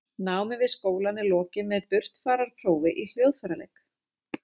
námi við skólann er lokið með burtfararprófi í hljóðfæraleik